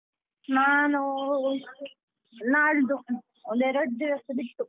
ನಾನು, ನಾಳ್ದು ಒಂದ್ ಎರಡ್ ದಿವಸ ಬಿಟ್ಟು.